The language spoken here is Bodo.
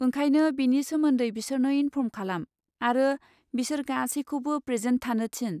ओंखायनो, बेनि सोमोन्दै बिसोरनो इनफर्म खालाम आरो बिसोर गासैखौबो प्रेजेन्ट जानो थिन।